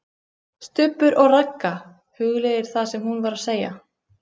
STUBBUR OG RAGGA, hugleiðir það sem hún var að segja.